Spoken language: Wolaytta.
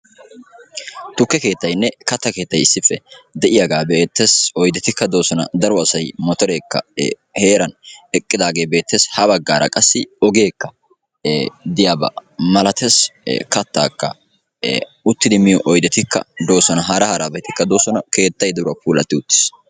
Tukke keettayne katta keettay de'yaga be'ettes. Oyddetika dosona. Daro asaay motoreka heeran eqqidage betes. Ha baggara qassi ogekka diyaba malatees. Kattaka uttidi miyo oyddettika dosona. Hara harabatikka de'osona. Keetta giddoykka puulati uttis.